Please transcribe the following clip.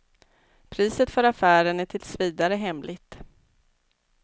Priset för affären är tills vidare hemligt.